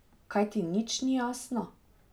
Kaj ti nič ni jasno?